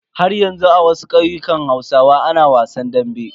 Haryanzu a wasu ƙauyukan hausawa ana wasan dambe.